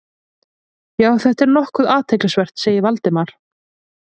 Já, þetta er nokkuð athyglisvert- sagði Valdimar.